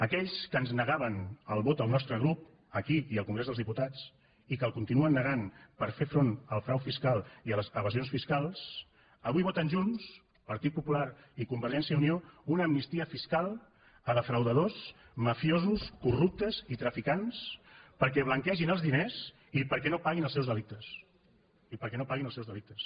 aquells que ens negaven el vot al nostre grup aquí i al congrés dels diputats i que el continuen negant per fer front al frau fiscal i a les evasions fiscals avui voten junts partit popular i convergència i unió una amnistia fiscal a defraudadors mafiosos corruptes i traficants perquè blanquegin els diners i perquè no paguin els seus delictes i perquè no paguin els seus delictes